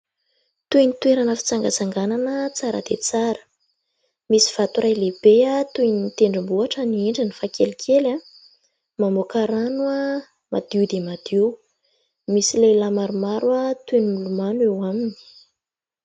Toy ny toerana fitsangantsanganana tsara dia tsara. Misy vato iray lehibe toy ny tendrombohitra ny endriny fa kelikely, mamoaka rano madio dia madio. Misy lehilahy maromaro toy ny milomano eo aminy.